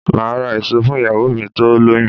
Máà ra èso fún ìyàwó mi tó lóyún